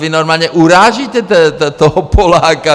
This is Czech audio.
Vy normálně urážíte toho Poláka.